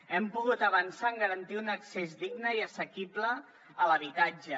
hem pogut avançar en garantir un accés digne i assequible a l’habitatge